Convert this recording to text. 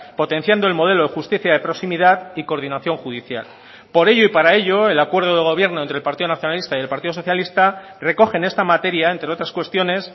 potenciando el modelo de justicia de proximidad y coordinación judicial por ello y para ello el acuerdo de gobierno entre el partido nacionalista y el partido socialista recoge en esta materia entre otras cuestiones